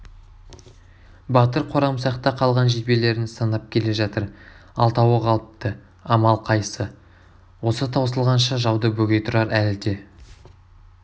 батыр қорамсақта қалған жебелерін санап келе жатыр алтауы қалыпты амал қайсы осы таусылғанша жауды бөгей тұрар әлі де